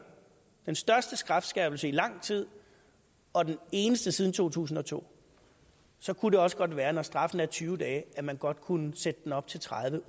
den største strafskærpelse i lang tid og den eneste siden to tusind og to så kunne det også godt være når straffen er tyve dage at man godt kunne sætte den op til tredive